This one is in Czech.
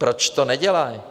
Proč to nedělají?